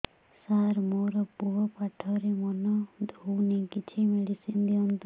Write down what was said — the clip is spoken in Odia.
ସାର ମୋର ପୁଅ ପାଠରେ ମନ ଦଉନି କିଛି ମେଡିସିନ ଦିଅନ୍ତୁ